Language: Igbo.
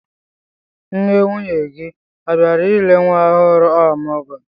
Nne nwunye gị ọ bịara ile nwa ohụrụ ọmụgwọ?